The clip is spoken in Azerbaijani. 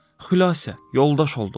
Xülasə, yoldaş oldular.